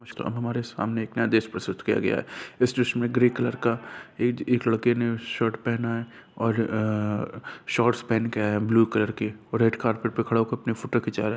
नमस्कार हमारे सामने एक नया दृश्य प्रस्तुत किया गया है इस दृश्य में ग्रे कलर का एक लड़के ने शर्ट पहना है और अ-अ शॉर्ट्स पहन के आया है ब्लू कलर के और रेड कारपेट पे खड़ा होके अपना फोटो खींचा रहा है।